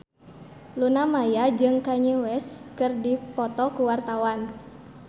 Luna Maya jeung Kanye West keur dipoto ku wartawan